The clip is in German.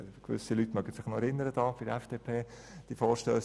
Gewisse Leute werden sich noch an ihn erinnern.